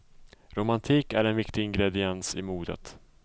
Romantik är en viktig ingrediens i modet.